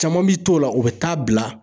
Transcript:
Caman bi t'o la u bɛ taa bila.